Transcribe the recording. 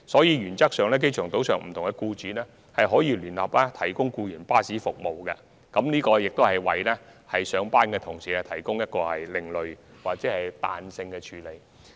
原則上，機場島上不同僱主可以聯合提供僱員服務，這是為上班僱員所作的另類或彈性安排。